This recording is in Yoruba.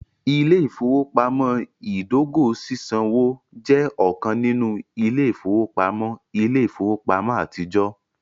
Ile-ifowopamọ idogo sisanwo jẹ ọkan ninu ile-ifowopamọ ile-ifowopamọ atijọ.